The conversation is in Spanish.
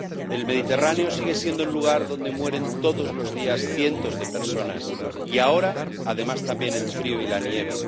El Mediterráneo sigue siendo el lugar donde mueren todos los días cientos de personas y ahora tenemos, además, también el frío y la nieve.